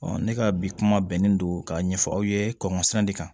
ne ka bi kuma bɛnnen don k'a ɲɛfɔ aw ye kɔmisan de kan